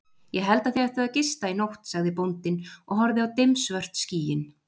Ég held þið ættuð að gista í nótt, sagði bóndinn og horfði á dimmsvört skýin.